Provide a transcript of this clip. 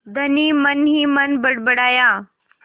धनी मनहीमन बड़बड़ाया